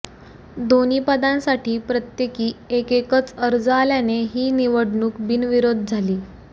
दोन्ही पदांसाठी प्रत्येकी एकेकच अर्ज आल्याने ही निवडणूक बिनविरोध झाली